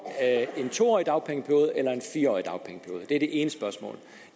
en to årig dagpengeperiode eller en fire årig dagpengeperiode det er det ene spørgsmål